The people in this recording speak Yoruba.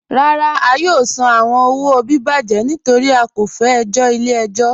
Rárá, à yóò sàn àwọn owo bíbàjẹ̀ nítorí à kò fẹ ẹ̀jọ̀ ilẹ̀-ẹ̀jọ̀.